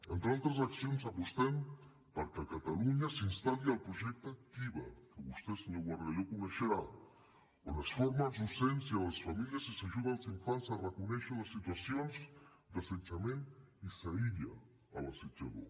entre altres accions apostem perquè a catalunya s’instal·li el projecte kiva que vostè senyor bargalló deu conèixer on es forma els docents i les famílies i s’ajuda els infants a reconèixer les situacions d’assetjament i s’aïlla l’assetjador